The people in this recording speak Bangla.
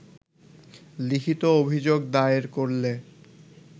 লিখিত অভিযোগ দায়ের করলে